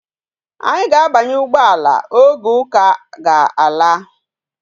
Anyi ga abanye ugboala, oge uka aga laa